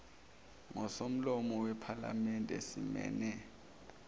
ngosomlomo wephalamende simeme